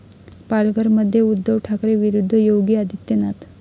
पालघरमध्ये उद्धव ठाकरे विरुद्ध योगी आदित्यनाथ